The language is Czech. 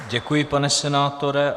Děkuji, pane senátore.